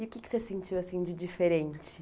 E o que que você sentiu assim de diferente?